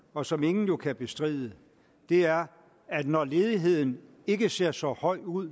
og som ingen jo kan bestride er at når ledigheden ikke ser så høj ud